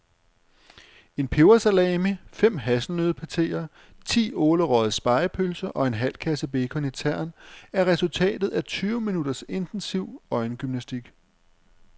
En pebersalami, fem hasselnøddepateer, ti ålerøgede spegepølser og en halv kasse bacon i tern er resultatet af tyve minutters intensiv øjengymnastik.